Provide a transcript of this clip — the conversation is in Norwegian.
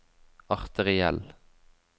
arteriell